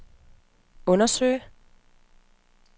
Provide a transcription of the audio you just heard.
undersøge